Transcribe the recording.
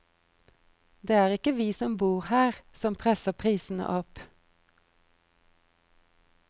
Det er ikke vi som bor her som presser prisene opp.